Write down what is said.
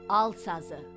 Al sazı."